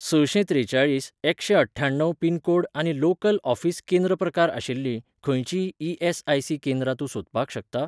सशें त्रेचाळीस एकशेंअठ्ठ्याण्णव पिन कोड आनी लोकल ऑफीस केंद्र प्रकारआशिल्लीं खंयचींय ई.एस.आय.सी केंद्रां तूं सोदपाक शकता ?